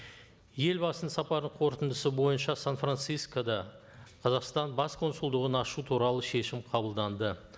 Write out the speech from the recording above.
елбасының сапарының қорытындысы бойынша сан францискода қазақстан бас консулдығын ашу туралы шешім қабылданды